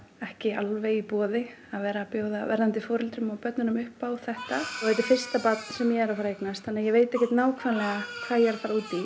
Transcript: ekki alveg í boði að bjóða verðandi foreldrum og börnunum upp á þetta þetta er fyrsta barn sem ég er að fara að eignast þannig að ég veit ekki nákvæmlega hvað ég er að fara út í